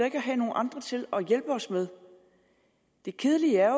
ikke at have nogle andre til at hjælpe os med det kedelige er